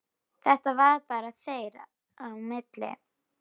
Þetta var bara þeirra á milli.